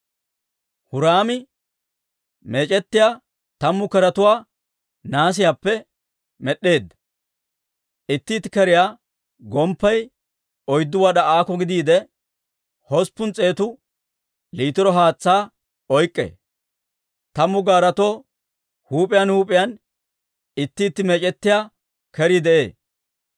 Huraami meec'ettiyaa tammu keretuwaa nahaasiyaappe med'd'eedda; itti itti keriyaa gomppay oyddu wad'aa aako gidiide, hosppun s'eetu liitiro haatsaa oyk'k'ee; tammu gaaretoo huup'iyaan huup'iyaan itti itti meec'ettiyaa kerii de'ee.